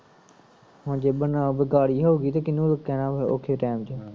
ਹੁਣ ਜੇ ਬਨਾ ਬੇਕਾਰੀ ਹੋਗੀ ਤੇ ਕਿਹਨੂੰ ਕਹਿਣਾ ਵਾ ਔਖੇ ਟੈਮ ਚ ਹਮ